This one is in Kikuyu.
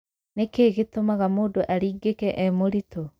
Nĩkĩ gĩtũmaga mũndũ aringĩke e mũritũ?